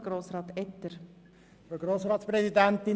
Das Wort haben die Fraktionen.